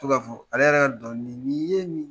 to ka fɔ ale yɛrɛ ka dɔnkili ni ye nin